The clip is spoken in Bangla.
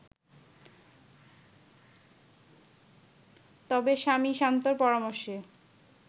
তবে স্বামী শান্তর পরামর্শে